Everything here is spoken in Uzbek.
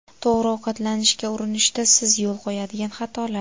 To‘g‘ri ovqatlanishga urinishda siz yo‘l qo‘yadigan xatolar.